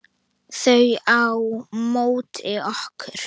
Þau á móti okkur.